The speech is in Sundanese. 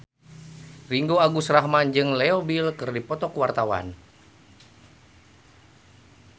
Ringgo Agus Rahman jeung Leo Bill keur dipoto ku wartawan